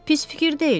Pis fikir deyil.